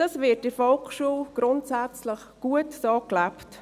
Dies wird in der Volksschule grundsätzlich gut so gelebt.